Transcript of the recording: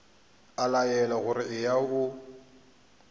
a laelwa gore eya o